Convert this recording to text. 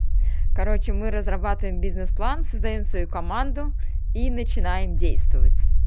короче мы разрабатываем бизнес план создаём свою команду и начинаем действовать